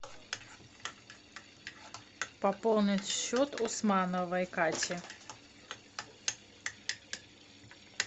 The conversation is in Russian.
пополнить счет усмановой кати